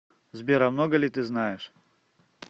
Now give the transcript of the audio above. сбер а много ли ты знаешь